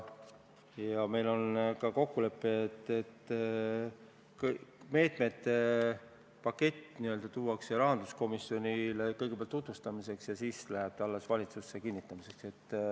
Samuti on meil kokkulepe, et meetmete paketti tutvustatakse kõigepealt rahanduskomisjonile ja alles siis läheb see valitsusele kinnitamiseks.